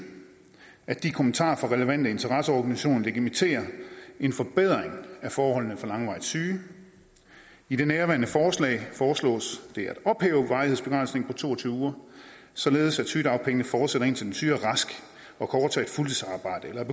at de kommentarer fra relevante interesseorganisationer legitimerer en forbedring af forholdene for langvarigt syge i nærværende forslag foreslås det at ophæve varighedsbegrænsningen på to og tyve uger således at sygedagpengene fortsætter indtil den syge er rask og